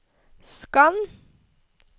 skann